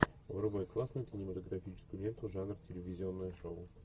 врубай классную кинематографическую ленту жанр телевизионное шоу